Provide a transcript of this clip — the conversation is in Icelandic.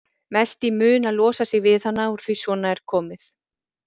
Mest í mun að losa sig við hana úr því að svona er komið.